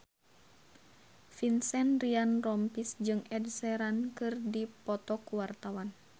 Vincent Ryan Rompies jeung Ed Sheeran keur dipoto ku wartawan